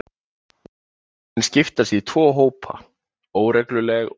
Tunglin skiptast í tvo hópa, óregluleg og regluleg.